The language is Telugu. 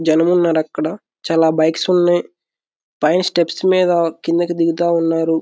జనమున్నారు .అక్కడ చాలా బైక్స్ ఉన్నాయ్. పైన స్టెప్స్ మీద కిందకి దిగుతా ఉన్నారు.